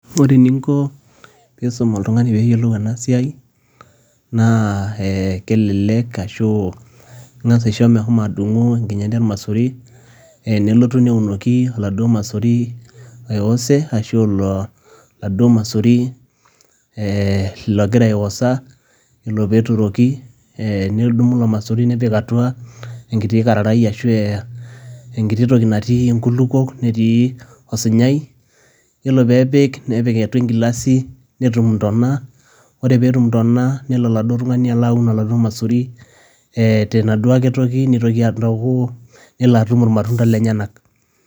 Ore eninko peyie iisum oltung'ani peyie eyiolou ena siai naa kelelek arashu ing'as aisho meshomo adung'u enkinyati ormaisuri nelotu neunoki oladuo maisuri oiwose arashu oladuo maisuri logira aiwosa, yiolo peyie eturoki, nedumu ilo maisuri neppik aatua enkiti kararai arashu enkiti toki natii inkulukuok, netii osunyai, iyiolo peyie epik nepik atua enkilasi, netum intona, ore peyie etum intona, nelo oladuuo tung'ani aun oladuo maisuri tenaduo aake toki nelo atum irmatunda lenyenak.